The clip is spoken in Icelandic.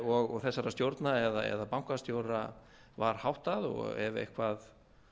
og þessara stjórna eða bankastjóra var háttað og ef eitthvað